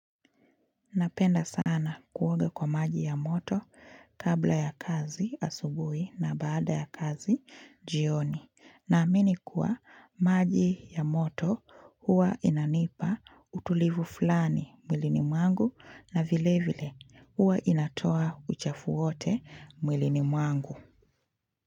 Napenda sana kuwuoga kwa maji ya moto kabla ya kazi asubuhi na baada ya kazi jioni. Na amini kuwa maji ya moto huwa inanipa utulivu fulani muilini mwangu na vile vile huwa inatoa uchafuwote mwilini mwangu.